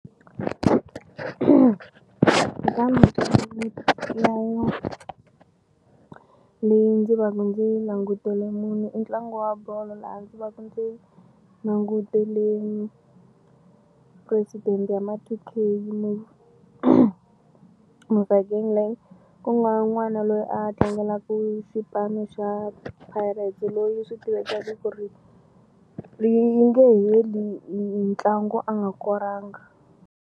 leyi ndzi va ku ndzi yi langutele munhu i ntlangu wa bolo laha ndzi va ku ndzi nangutele President wa ma two K ku nga n'wana loyi a tlangelaku xipano xa Pirates loyi swi tivekekaku ku ri yi nge heli ntlangu a nga koranga.